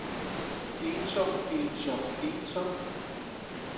ensom ensom ensom